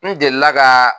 N delila ka